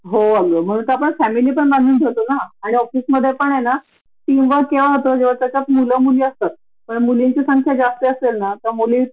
आणि उद्या ठीक् आहे त्याच्या जॉब खूप हाय प्रोफाइल हे चांगला आहे तो नाही म्हंटला सोडणार तर पांच सहा वर्षासाठी आपण त्याला सोडून राहू का? परदेशात!